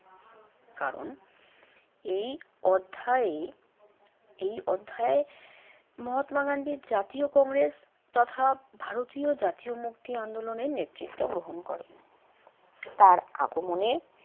কারণ এই অধ্যায়ে এই অধ্যায়ে মহাত্মা গান্ধীর জাতীয় কংগ্রেস তথা ভারতীয় জাতীয় মুক্তি আন্দোলনের নেতৃত্ব গ্রহণ করেন। তার আগমনে